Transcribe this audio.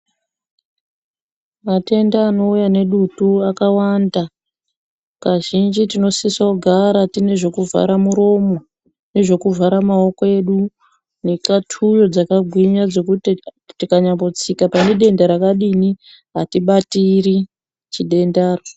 Matenda anouya nedutu akawanda kazhinji tinofanira kugara tine zvekuvhara muromo nezvekuvhara maoko edu nekatuyo dzakagwina dzekuti tikanyatsika pane denda rakadini hatibatiri denda ro.